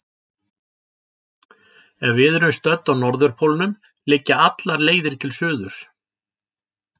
Ef við erum stödd á norðurpólnum liggja allar leiðir til suðurs.